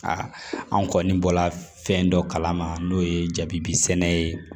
anw kɔni bɔla fɛn dɔ kalama n'o ye jabi sɛnɛ ye